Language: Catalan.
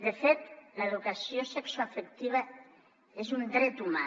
de fet l’educació sexoafectiva és un dret humà